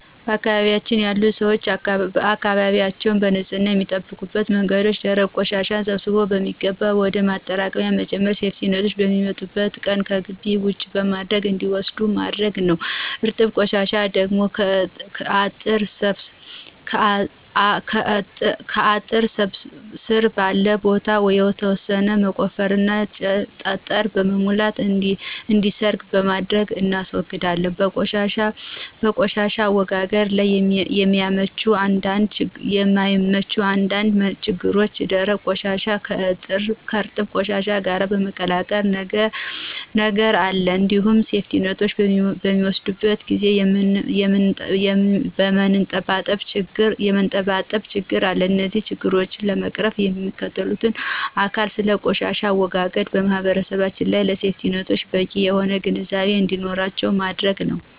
በአካባቢያችን ያሉ ሰዎች አካባቢያችንን በንፅህና የሚጠብቁበት መንገድ ደረቅ ቆሻሻን ሰብስቦ በሚገባ ወደ ማጠራቀሚያ በመጨመር ሴፍቲኔቶች በሚመጡበት ቀን ከግቢ ውጪ በማድረግ እንዲወስዱት በማድረግ ነዉ። እርጥብ ቆሻሻን ደግሞ ከአጥር ስር ባለ ቦታ የተወሰነ በመቆፈርና ጠጠር በመሙላት እንዲሰርግ በማድረግ እናስወግዳለን። በቆሻሻ አወጋገድ ላይ የማያቸው አንዳንድ ችግሮች ደረቅ ቆሻሻን ከእርጥብ ቆሻሻ ጋር የመቀላቀል ነገር አለ እንዲሁም ሴፍቲኔቶች በሚወስዱበት ጊዜ የመንጠባጠብ ችግር አለ። እነዚህን ችግሮች ለመቅረፍም ሚመለከተው አካል ስለ ቆሻሻ አወጋገድ ለማህበረሰባችን እና ለሴፍቲኔቶች በቂ የሆነ ግንዛቤ እንዲኖራቸው ማድረግ ነዉ።